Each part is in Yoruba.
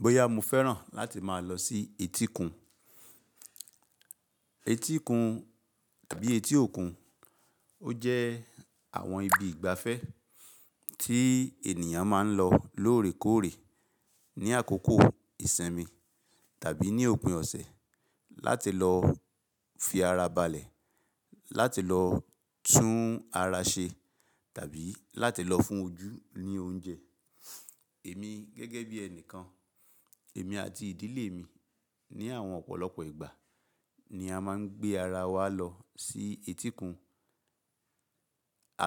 Bóyá mo fẹ́ràn láti máa lọ sí etíkun. Etíkun tàbí etí òkun, ó jẹ́ àwọn ibi ìgbafẹ́ tí ènìyàn máa ń lọ lóòrèkóòrè ní àkókò ìsinmi tàbí ní òpin ọ̀sẹ̀ láti lọ fi ara balẹ̀, láti lọ tún ara ṣe tàbí láti lọ fún ojú ní oúnjẹ. Èmi gẹ́gẹ́ bí ẹnìkan, èmi àti ìdílé mi ní àwọn ọ̀pọ̀lọpọ̀ ìgbà ni a máa ń gbé ara wa lọ sí etíkun.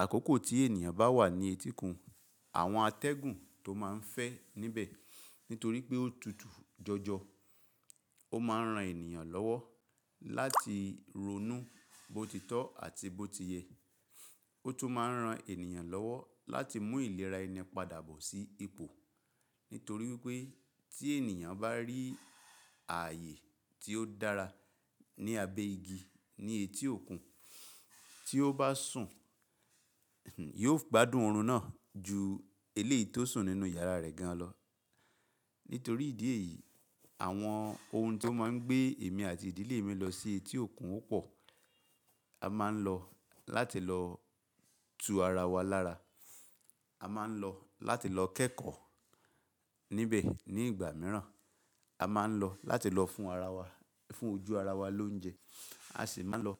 Àkókò tí ènìyàn bá wà ní etíkun, àwọn atẹ́gùn tó máa ń fẹ́ níbẹ̀ nítorí pé ó tutù jọjọ, ó máa ń ran ènìyàn lọ́wọ́ láti ronú bó ti tọ́ àti bó ti yẹ. Ó tún máa ń ran ènìyàn lọ́wọ́ láti mú ìlera ẹni padà bọ̀ sí ipò. Nítorí pé tí ènìyàn bá rí ààyè tí ó dára ní abẹ́ igi ní etí òkun, tí ó bá sùn, yóò gbádùn oorun náà ju eléyìí tó sùn nínú yàrá rẹ̀ gan lọ. Nítorí ìdí èyí, àwọn ohun tí ó máa ń gbé èmi àti ìdílé mi lọ sí etí òkun ó pò. A máa ń lọ láti lọ tu ara wa lára. A máa ń lọ láti lọ kẹ́kọ̀ọ́ níbẹ̀ ní ìgbà mìíràn. A máa ń lọ láti lọ fún ara wa, fún ojú ara wa lóúnjẹ. A sì máa ń lọ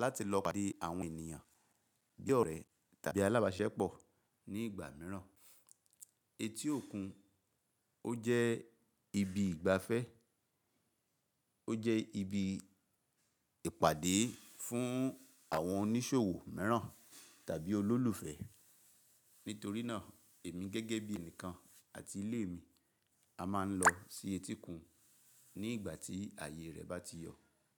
láti lọ pàdé àwọn ènìyàn bí ọ̀rẹ́ tàbí alábàsiṣepọ̀ ní ìgbà mìíràn. Etí òkun ó jẹ́ ibi ìgbafẹ́, ó jẹ́ ibi ìpàdé fún àwọn oníṣòwò mìíràn tàbí olólùfẹ́. Nítorí náà, èmi gẹ́gẹ́ bí ẹnìkan àti ilé mi, a máa ń lọ sí etíkun ní ìgbà tí ààyè rẹ̀ bá ti yọ̀.